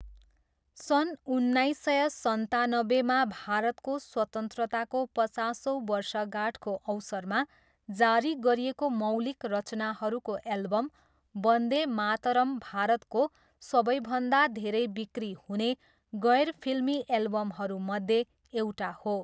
सन् उन्नाइस सय सन्तानब्बेमा भारतको स्वतन्त्रताको पचासौँ वर्षगाँठको अवसरमा जारी गरिएको मौलिक रचनाहरूको एल्बम वन्दे मातरम् भारतको सबैभन्दा धेरै बिक्री हुने गैर फिल्मी एल्बमहरूमध्ये एउटा हो।